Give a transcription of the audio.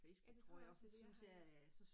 Ja det tror jeg også det er det jeg har